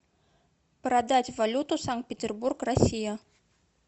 продать валюту санкт петербург россия